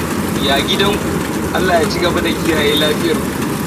Ya gidan ku? Allah ya ci gaba da kiyaye lafiyar ku.